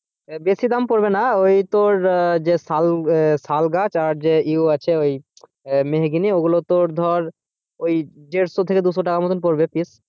বেশি দাম পরবে না ওই তোর যে আহ শাল আহ শালগাছ আর যে আছে ওই মেহগিনি ওইগুলো তোর ধর দেড়শো থেকে দুশো টাকা মতন পরবে piece,